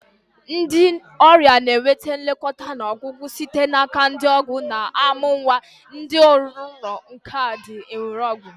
Ndị ọrịa na-enweta nlekọta na ọgwụgwọ site n'aka ndị na-amụ nwa, ndị ọrụ nka na ndị na-ere ọgwụ.